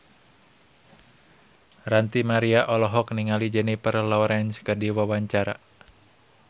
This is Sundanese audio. Ranty Maria olohok ningali Jennifer Lawrence keur diwawancara